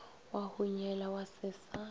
wa hunyela wa se sa